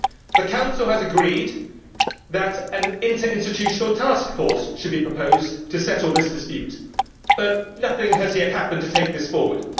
The Council has agreed that an interinstitutional task force should be proposed to settle this dispute, but nothing has yet happened to take this forward.